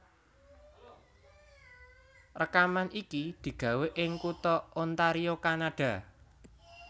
Rèkaman iki digawé ing kutha Ontario Kanada